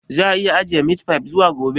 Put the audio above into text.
Za a iya ajiye meat fy zuwa gobe?